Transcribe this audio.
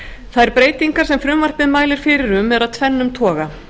þær breytingar sem frumvarpið mælir fyrir um eru af tvennum toga